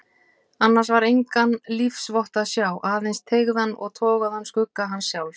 Annars var engan lífsvott að sjá, aðeins teygðan og togaðan skugga hans sjálfs.